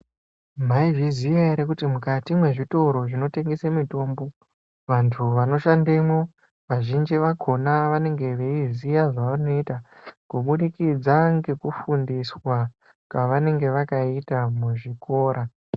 Maizviziya ere kuti mukati mwezvitoro zvinotengese mitombo vantu vanoshandemwo vazhinji vakona vanenge veiziya zvavanoita kubudikidza ngekufundiswa kwavanenge vakaita muzvikora.